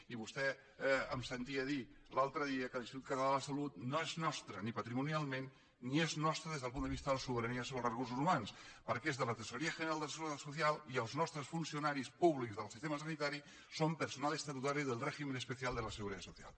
i vostè em sentia dir l’altre dia que l’institut català de la salut no és nostre ni patrimonialment ni és nostre des del punt de vista de la sobirania sobre els recursos humans perquè és de la tesorería general de la seguridad social i els nostres funcionaris públics del sistema sanitari són personal estatutario del régimen especial de la seguridad social